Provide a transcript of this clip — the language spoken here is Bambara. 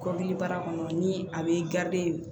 Kɔdili baara kɔnɔ ni a bɛ